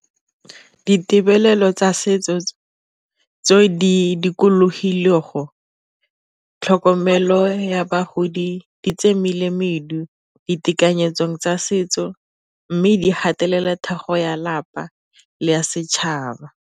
Ditebelelo tsa setso tse di dikologileng tlhokomelo ya bagodi tse ditekanyetso tsa setso, mme di gatelela thego ya lapa le ya setšhaba.